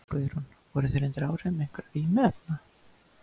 Guðrún: Voru þeir undir áhrifum einhverra vímuefna?